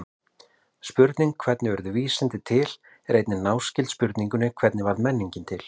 Spurningin hvernig urðu vísindi til er einnig náskyld spurningunni hvernig varð menningin til?